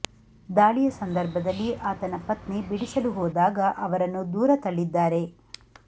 ದಾಳಿಯ ಸಂದರ್ಭದಲ್ಲಿ ಆತನ ಪತ್ನಿ ಬಿಡಿಸಲು ಹೋದಾಗ ಅವರನ್ನು ದೂರ ತಳ್ಳಿದ್ದಾರೆ